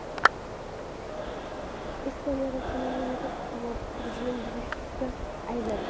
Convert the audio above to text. Estoniya Rossiyani mamlakat havo hududini buzishda aybladi.